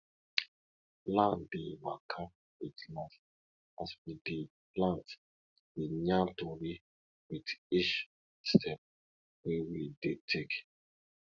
land dey waka wit life as we dey plant dey yarn tori wit each step wey we dey take